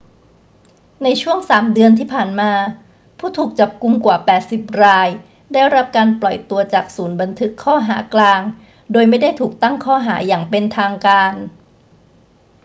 ในช่วง 3 เดือนที่ผ่านมา ผู้ถูกจับกุมกว่า 80 รายได้รับการปล่อยตัวจากศูนย์บันทึกข้อหากลางโดยไม่ได้ถูกตั้งข้อหาอย่างเป็นทางการ